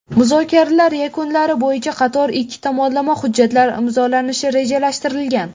Muzokaralar yakunlari bo‘yicha qator ikki tomonlama hujjatlar imzolanishi rejalashtirilgan.